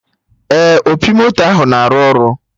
Ee, opi moto ahụ na-arụ ọrụ